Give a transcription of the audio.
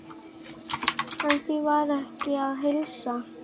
En því var ekki að heilsa.